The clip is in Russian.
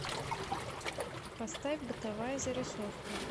поставь бытовая зарисовка